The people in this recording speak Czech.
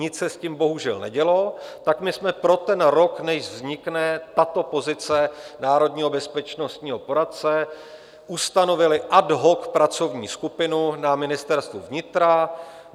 Nic se s tím bohužel nedělo, tak my jsme pro ten rok, než vznikne tato pozice národního bezpečnostního poradce, ustanovili ad hoc pracovní skupinu na Ministerstvu vnitra.